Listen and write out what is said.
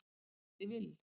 Addi Vill